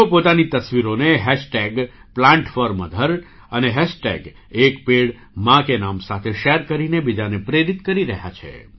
તેઓ પોતાની તસવીરોને Plant4Mother અને एक पेड़ मां के नाम સાથે શૅર કરીને બીજાને પ્રેરિત કરી રહ્યા છે